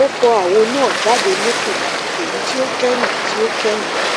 ó fọ àwo náà jáde lókè èyí tí ó kẹyìn tí ó kẹyìn